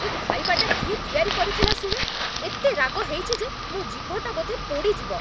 ଏ ଖାଇବାଟା କିଏ ତିଆରି କରିଥିଲା ଶୁଣେ? ଏତେ ରାଗ ହେଇଛି ଯେ ମୋ' ଜିଭଟା ବୋଧେ ପୋଡ଼ି ଯିବ ।